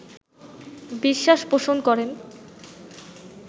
বিশ্বাস পোষণ করেন